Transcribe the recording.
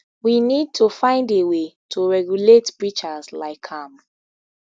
we need to find a way to regulate preachers like am